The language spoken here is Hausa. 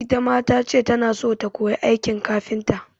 Ita ma ta ce tana so ta koyi aikin kafinta.